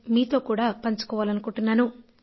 ఇది మీతో కూడా నేను పంచుకోవాలనుకుంటున్నాను